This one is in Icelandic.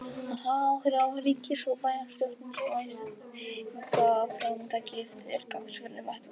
Að hafa áhrif á ríkis- og bæjarstjórnir og einstaklingsframtakið til gagns fyrir fatlaða.